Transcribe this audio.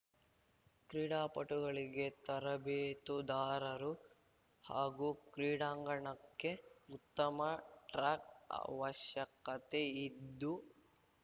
ಕ್ರೀಡಾಪಟುಗಳಿಗೆ ತರಬೇತುದಾರರು ಹಾಗೂ ಕ್ರೀಡಾಂಗಣಕ್ಕೆ ಉತ್ತಮ ಟ್ರಾಕ್ ಅವಶ್ಯಕತೆಯಿದ್ದು